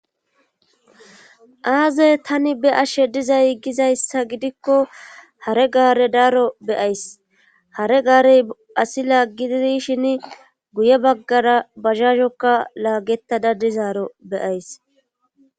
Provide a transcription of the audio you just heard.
aaze tani be ashshe diza giggizayssa gidikko hare gaare daaro beyays hare gaarey asi laaggididishin guye baggara bazhazhokka laagettada dizaaro beyays